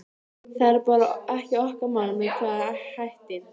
Það er bara ekki okkar mál með hvaða hætti